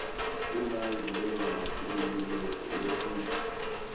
umanji bekangumculi wesintfu